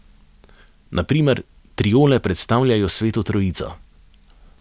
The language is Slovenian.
Na primer, triole predstavljajo Sveto Trojico.